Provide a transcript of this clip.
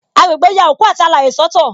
Agbegbe ya òkú àti alaye soto